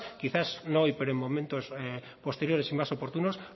quizás no hoy pero en momentos posteriores y más oportunos